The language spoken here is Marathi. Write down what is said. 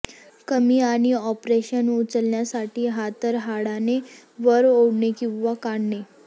कमी आणि ऑपरेशन उचलण्यासाठी हातरहाटाने वर ओढणे किंवा काढणे